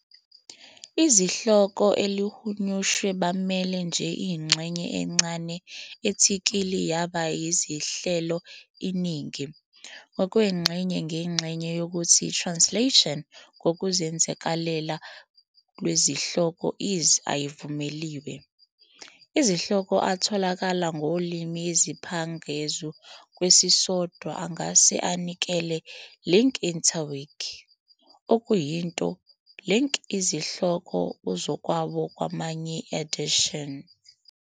Izihloko elihunyushwe bamele nje ingxenye encane athikili yaba izinhlelo iningi, ngokwengxenye ngenxa yokuthi translation ngokuzenzakalela lwezihloko is Ayivumeliwe. Izihloko atholakalayo ngolimi ezingaphezu kwesisodwa angase anikele "links interwiki", okuyinto link izihloko uzakwabo kwamanye editions.